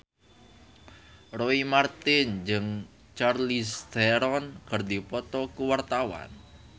Roy Marten jeung Charlize Theron keur dipoto ku wartawan